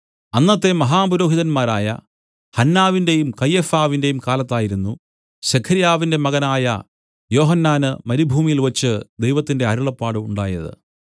അന്നത്തെ മഹാപുരോഹിതന്മാരായ ഹന്നാവിന്റേയും കയ്യഫാവിന്റേയും കാലത്തായിരുന്നു സെഖര്യാവിന്റെ മകനായ യോഹന്നാന് മരുഭൂമിയിൽവച്ച് ദൈവത്തിന്റെ അരുളപ്പാട് ഉണ്ടായത്